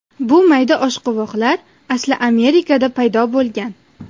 Bu mayda oshqovoqlar asli Amerikada paydo bo‘lgan.